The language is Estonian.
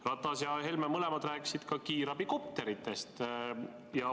Ratas ja Helme rääkisid mõlemad ka kiirabikopteritest.